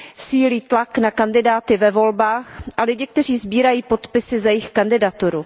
Sílí tlak na kandidáty ve volbách a lidi, kteří sbírají podpisy za jejich kandidaturu.